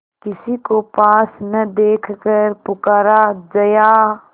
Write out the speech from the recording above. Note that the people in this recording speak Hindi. किसी को पास न देखकर पुकारा जया